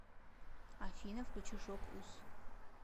афина включи шок уз